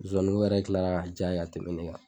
Zoani ko yɛrɛ tilara ka diy'a ye ka tɛmɛ nin kan.